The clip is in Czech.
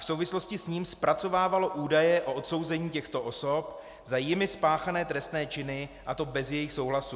V souvislosti s ním zpracovávalo údaje o odsouzení těchto osob za jimi spáchané trestné činy, a to bez jejich souhlasu.